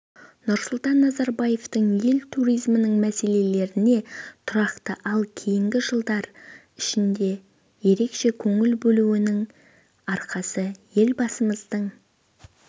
нұрсұлтан назарбаевтың ел туризмінің мәселелеріне тұрақты ал кейінгі жылдар ішінде ерекше көңіл бөлуінің арқасы елбасымыздың